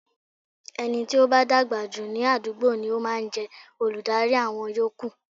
Ẹni tí ó bá dàgbà jù ní àdúgbò ni ó máa ń jẹ́ olùdarí àwọn yòókù.